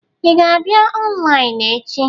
Ị ga-abịa ọnlaịnụ echi?